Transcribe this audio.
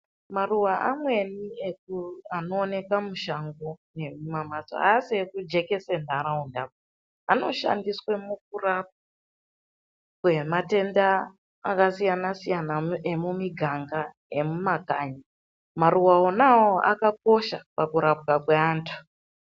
Maruwa amweni anoonekwa mushango nemuma mbatso haasi ekujekesa nharaunda anoshandiswa mukurapa matenda akasiyana siyana emumiganga emumakanyi maruva onaiwawo akakosha pakurapwa kwevandu.